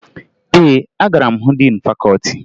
Ee, agara m hụ diin fakọọti